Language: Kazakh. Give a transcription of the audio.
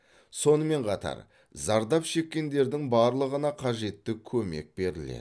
сонымен қатар зардап шеккендердің барлығына қажетті көмек беріледі